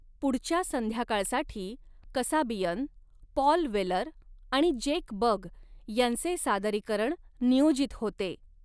पुढच्या संध्याकाळसाठी Kasabian, Paul Weller आणि जेक बग यांचे सादरीकरण नियोजित होते.